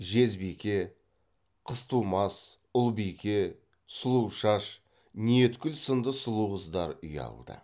жезбике қызтумас ұлбике сұлушаш ниеткүл сынды сұлу қыздар ұялды